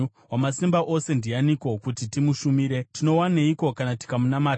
Wamasimba Ose ndianiko, kuti timushumire? Tinowaneiko kana tikamunamata?’